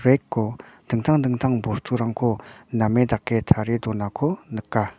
rack-o dingtang dingtang bosturangko name dake tarie donako nika.